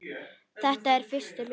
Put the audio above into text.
Þetta er fyrsti hluti.